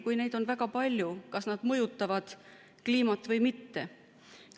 Kui neid on väga palju, kas nad mõjutavad kliimat või mitte?